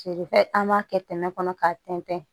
Feere fɛn an b'a kɛ tɛnɛn kɔnɔ k'a tɛntɛn